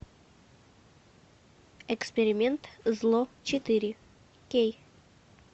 эксперимент зло четыре кей